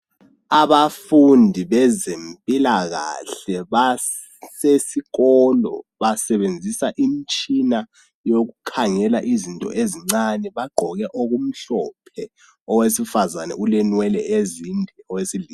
Abafundi bezempilakahle basesikolo basebenzisa imtshina yokukhangela izinto ezincane bagqoke okumhlophe owesifazane ulenwele ezinde owesilisa.